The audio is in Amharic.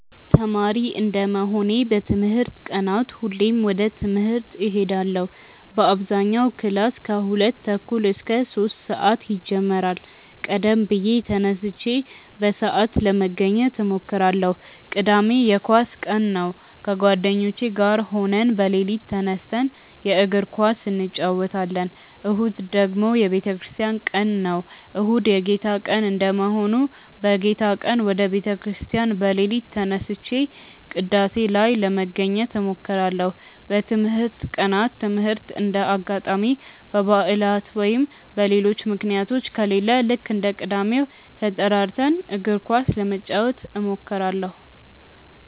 ተማሪ እንደመሆኔ በትምህርት ቀናት ሁሌም ወደ ትምህርት እሄዳለው በአብዛኛው ክላስ ከሁለት ተኩል እስከ ሶስት ሰአት ይጀምራል ቀደም ብዬ ተነስቼ በሰአት ለመገኘት እሞክራለው። ቅዳሜ የኳስ ቀን ነው ከጓደኞቼ ጋር ሆነን በሌሊት ተነስተን የእግር ኳስ እንጨወታለን። እሁድ ደግሞ የቤተክርስቲያን ቀን ነው። እሁድ የጌታ ቀን እንደመሆኑ በጌታ ቀን ወደ ቤተ ክርስቲያን በሌሊት ተነስቼ ቅዳሴ ላይ ለመገኘት እሞክራለው። በትምህርት ቀናት ትምህርት እንደ አጋጣሚ በባዕላት ወይም በሌሎች ምክንያቶች ከሌለ ልክ እንደ ቅዳሜው ተጠራርተን እግር ኳስ ለመጫወት እንሞክራለው።